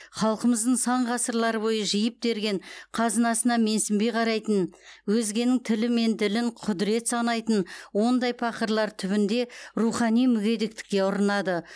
халқымыздың сан ғасырлар бойы жиып терген қазынасына менсінбей қарайтын өзгенің тілі мен ділін құдірет санайтын ондай пақырлар түбінде рухани мүгедектікке ұрынады